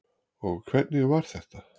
Og hvernig var þetta?